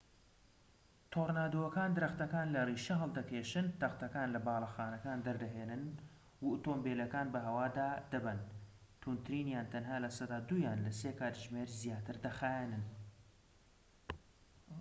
تۆرنادۆکان درەختەکان لە ڕیشە هەڵدەکێشن تەختەکان لە باڵەخانەکان دەردەهێنن و ئۆتۆمبێلەکان بە هەوا دادەبەن توندترینیان تەنها لە سەدا دوویان لە سێ کاتژمێر زیاتر دەخایەنن